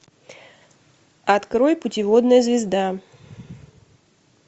открой путеводная звезда